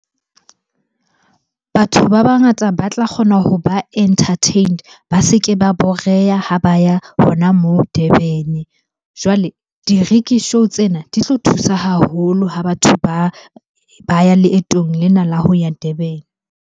Batho ba bangata ba tla kgona hoba entertained, ba se ke ba boreba ha ba ya hona moo Durban-e. Jwale di-rickshaw tsena di tlo thusa haholo ho batho ba ya leetong lena la ho ya Durban.